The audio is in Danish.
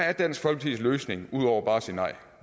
er dansk folkepartis løsning ud over bare at sige nej